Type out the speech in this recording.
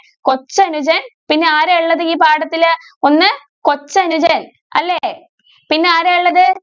കൊച്ചനുജൻ പിന്നെ ആരാ ഉള്ളത് ഈ പാഠത്തില് ഒന്ന് കൊച്ചനുജൻ അല്ലെ പിന്നെ ആരാ ഉള്ളത്?